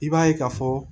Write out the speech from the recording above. I b'a ye ka fɔ